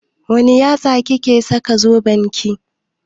Wanne yatsa kike saka zoben ki?